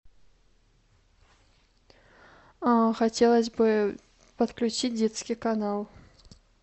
хотелось бы подключить детский канал